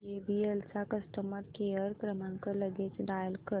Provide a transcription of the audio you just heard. JBL चा customer care क्रमांक लगेच डायल कर